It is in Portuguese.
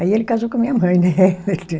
Aí ele casou com a minha mãe, né?